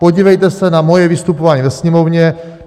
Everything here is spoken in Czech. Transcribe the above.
Podívejte se na moje vystupování ve Sněmovně.